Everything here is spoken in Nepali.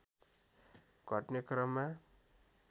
घट्ने क्रममा